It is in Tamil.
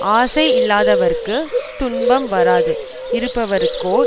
ஆசை இல்லாதவர்க்குத் துன்பம் வராது இருப்பவர்க்கோ